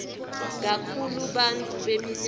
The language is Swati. kakhulu bantfu beminyaka